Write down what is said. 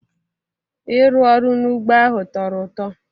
Ịrụ ọrụ n'ugbo ahụ tọrọ ụtọ